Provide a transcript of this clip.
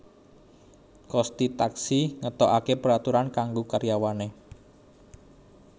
Kosti Taksi ngetoake peraturan kanggo karyawane